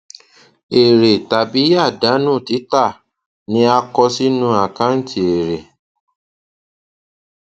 èrè tàbí àdánù títà ni a kọ sínú àkàǹtì èrè